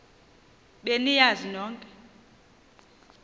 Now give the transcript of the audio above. be niyazi nonk